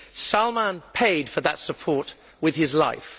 Salmaan paid for that support with his life.